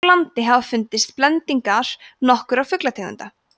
hér á landi hafa fundist blendingar nokkurra fuglategunda